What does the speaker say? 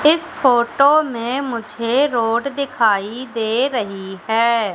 इस फोटो में मुझे रोड दिखाई दे रही है।